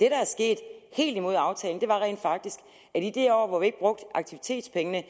er sket helt imod aftalen var rent faktisk at i det år hvor vi ikke brugte aktivitetspengene